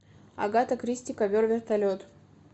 агата кристи ковер вертолет